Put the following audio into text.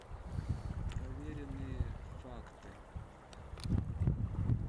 проверенные факты